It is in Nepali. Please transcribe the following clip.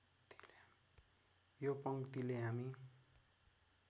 यो पङ्क्तिले हामी